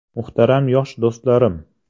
Muhtaram yosh do‘stlarim!